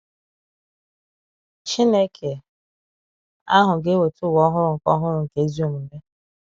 Chineke ahụ ga-eweta ụwa ọhụrụ nke ọhụrụ nke ezi omume.